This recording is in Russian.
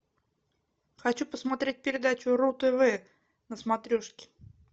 хочу посмотреть передачу ру тв на смотрешке